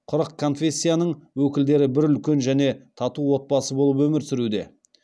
қырық конфессияның өкілдері бір үлкен және тату отбасы болып өмір сүруде